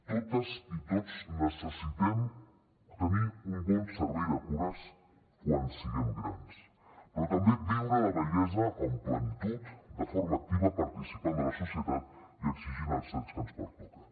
totes i tots necessitem tenir un bon servei de cures quan siguem grans però també viure la vellesa amb plenitud de forma activa participant de la societat i exigint els drets que ens pertoquen